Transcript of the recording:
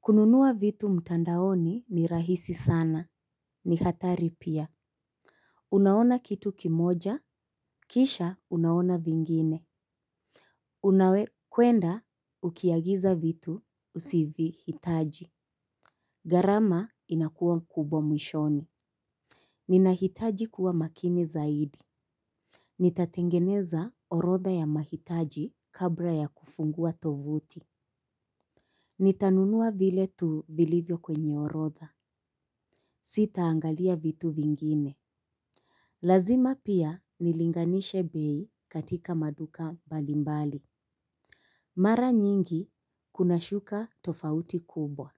Kununua vitu mtandaoni ni rahisi sana ni hatari pia. Unaona kitu kimoja kisha unaona vingine. Una kwenda ukiagiza vitu usivyohitaji. Gharama inakuwa kubwa mwishoni. Ninahitaji kuwa makini zaidi. Nitatengeneza orodha ya mahitaji kabla ya kufungua tovuti. Nitanunua vile tu vilivyo kwenye orodha. Sita angalia vitu vingine. Lazima pia nilinganishe bei katika maduka balimbali. Mara nyingi kuna shuka tofauti kubwa.